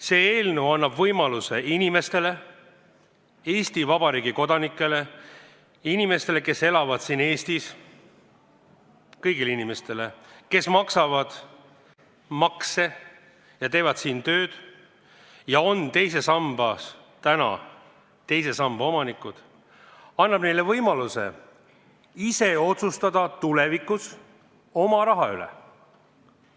See eelnõu annab inimestele, Eesti Vabariigi kodanikele, inimestele, kes elavad siin Eestis, kõigile inimestele, kes maksavad makse ja teevad siin tööd ja on täna teise samba omanikud, võimaluse tulevikus ise otsustada oma raha üle.